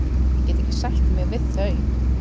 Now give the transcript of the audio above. Ég get ekki sætt mig við þau.